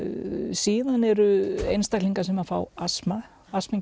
síðan eru einstaklinar sem fá astma astma